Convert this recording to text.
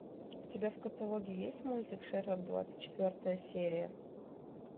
у тебя в каталоге есть мультик шерлок двадцать четвертая серия